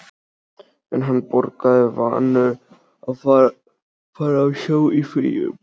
En hann borgaði, vanur að fara á sjó í fríum.